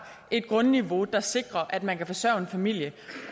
et grundniveau der sikrer at man kan forsørge en familie